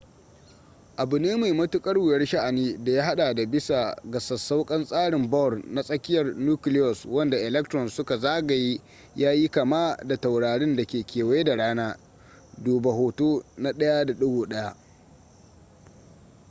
abu ne mai matuƙar wuyar sha'ani da ya haɗa da bisa ga sassauƙan tsarin bohr na tsakiyar nucleus wanda electrons suka zagaye ya yi kama da taurarin da ke kewaye da rana duba hoto na 1.1